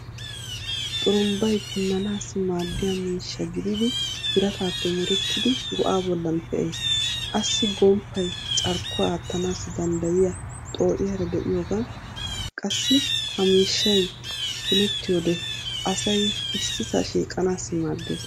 Xurumbbay punnanaassi maaddiya miishsha gididi birataape merettidi go'aa bollan pee'ees. Assi gomppay carkkuwa aattanaassi danddayiya xoo'iyaara de'iyoogan qassi ha miishshay punettiyode asay ississaa shiiqanaassi maaddeees.